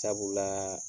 Sabula